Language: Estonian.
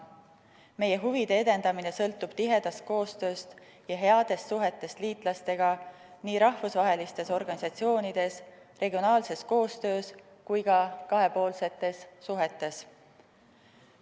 Meie huvide edendamine sõltub tihedast koostööst ja headest suhetest liitlastega nii rahvusvahelistes organisatsioonides, regionaalses koostöös kui ka kahepoolsetes suhetes.